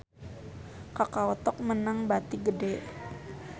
Kakao Talk meunang bati gede